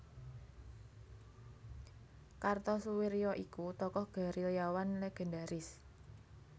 Kartosoewirjo iku tokoh gerilyawan legendaris